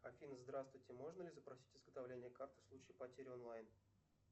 афина здравствуйте можно ли запросить изготовление карты в случае потери онлайн